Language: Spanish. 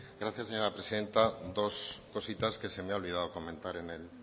gracias señora presidenta dos cositas que se me ha olvidado comentar en el